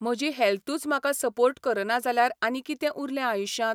म्हजी हॅल्थूच म्हाका सपोर्ट करना जाल्यार आनी कितें उरलें आयुश्यांत?